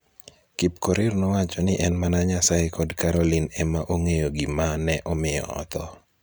Kipkorir nowacho ni en mana Nyasaye kod Caroline ema ong'eyo gima ne omiyo otho.